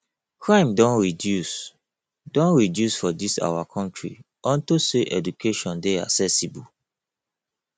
crime don reduce don reduce for dis our country unto say education dey accessible